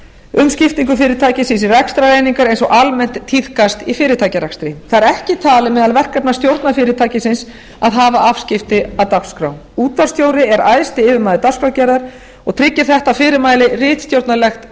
um skiptingu fyrirtækisins í rekstrareiningar eins og almennt tíðkast í fyrirtækjarekstri það er ekki talið meðal verkefna stjórnar fyrirtækisins að hafa afskipti af dagskrá útvarpsstjóri er æðsti yfirmaður dagskrárgerðar og tryggir þetta fyrirmæli ritstjórnarlegt